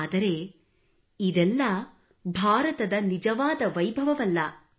ಆದರೆ ಇದೆಲ್ಲ ಭಾರತದ ನಿಜವಾದ ವೈಭವವಲ್ಲ